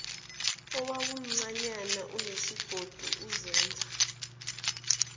owawumncanyana unesigodi uzenza